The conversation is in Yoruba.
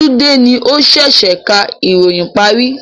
Tunde ni o sẹ̀sẹ̀ ká ìròyìn parí